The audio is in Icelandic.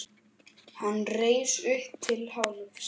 Hann reis upp til hálfs.